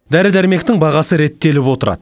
дәрі дәрмектің бағасы реттеліп отырады